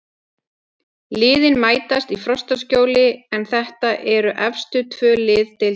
Liðin mætast í Frostaskjóli en þetta eru efstu tvö lið deildarinnar.